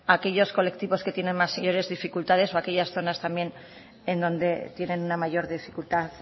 a aquellos colectivos que tienen mayores dificultades o aquellas zonas también en donde tienen una mayor dificultad